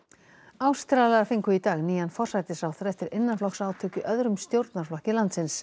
Ástralar fengu í dag nýjan forsætisráðherra eftir innanflokksátök í öðrum stjórnarflokki landsins